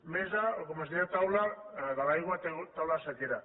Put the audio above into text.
mesa o com es deia taula de l’aigua taula de la sequera